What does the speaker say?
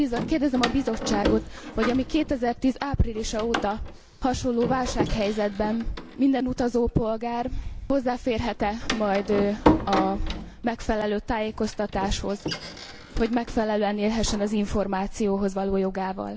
Kérdezem a Bizottságot, hogy 2010 áprilisa óta hasonló válsághelyzetben minden utazópolgár hozzáférhet e majd a megfelelő tájékoztatáshoz, hogy megfelelően élhessen az információhoz való jogával.